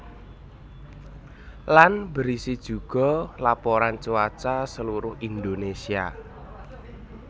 Lan berisi juga laporan cuaca seluruh Indonésia